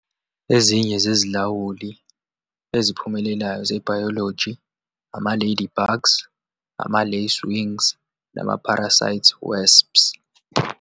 Ezinye zezilawuli eziphumelelayo zebhayologi, ama-lady bugs, ama-lace wings, nama-parasite wasps.